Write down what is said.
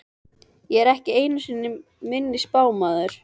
Ég er ekki einu sinni minni spámaður.